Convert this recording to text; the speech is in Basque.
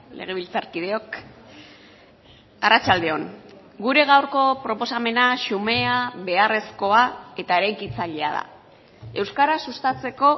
legebiltzarkideok arratsalde on gure gaurko proposamena xumea beharrezkoa eta eraikitzailea da euskara sustatzeko